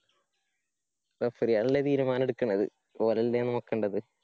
Referee മാരല്ലേതീരുമാനം എടുക്കേണ്ടത്. ഓര് അല്ലേ നോക്കേണ്ടത്.